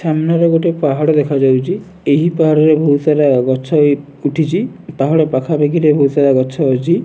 ସାମ୍ନାରେ ଗୋଟେ ପାହାଡ଼ ଦେଖାଯାଉଛି ଏହି ପାହାଡ଼ରେ ବହୁତ ସାରା ଗଛ ଏ ଉଠିଛି ପାହାଡ଼ ପାଖା ପାଖିରେ ବହୁତ ସାରା ଗଛ ଅଛି।